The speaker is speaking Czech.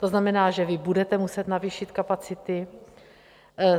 To znamená, že vy budete muset navýšit kapacity.